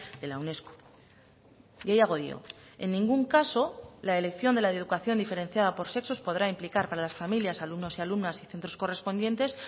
de la unesco gehiago dio en ningún caso la elección de la educación diferenciada por sexos podrá implicar para las familias alumnos y alumnas y centros correspondientes